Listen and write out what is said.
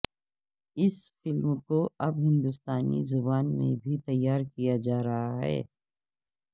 اس film کو اب ہندوستانی زبان میں بھی تیار کیا جا رہا ہے